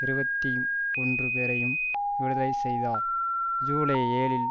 இருபத்தி ஒன்றுபேரையும் விடுதலை செய்தார் ஜூலை ஏழுல்